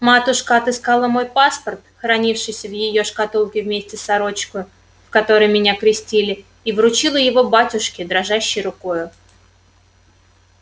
матушка отыскала мой паспорт хранившийся в её шкатулке вместе с сорочкою в которой меня крестили и вручила его батюшке дрожащею рукою